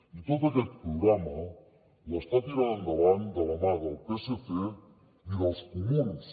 i tot aquest programa l’està tirant endavant de la mà del psc i dels comuns